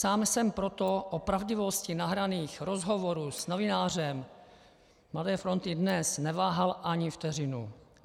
Sám jsem proto o pravdivosti nahraných rozhovorů s novinářem Mladé fronty Dnes neváhal ani vteřinu.